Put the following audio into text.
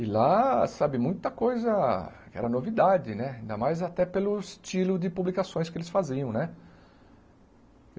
E lá, sabe, muita coisa era novidade né, ainda mais até pelo estilo de publicações que eles faziam né.